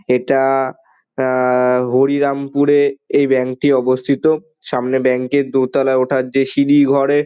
এটা অ্যা অ্যা হরিরাম পুরে এই ব্যাঙ্ক টি অবস্থিত। সামনে ব্যাঙ্ক টির দোতালায় ওঠার যে সিঁড়ি ঘরে--